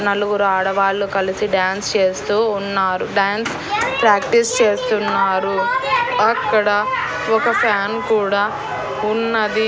నలుగురు ఆడవాళ్లు కలిసి డాన్స్ చేస్తూ ఉన్నారు. డాన్స్ ప్రాక్టీస్ చేస్తున్నారు అక్కడ ఒక ఫ్యాన్ కూడా ఉన్నది.